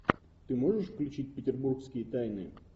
ты можешь включить петербургские тайны